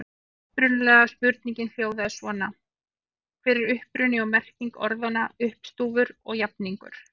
Upprunalega spurningin hljóðaði svona: Hver er uppruni og merking orðanna uppstúfur og jafningur?